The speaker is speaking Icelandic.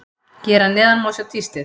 Hér að neðan má sjá tístið.